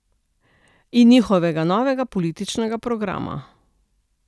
In njihovega novega političnega programa.